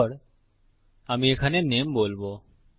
তারপর আমি এখানে নামে বলবো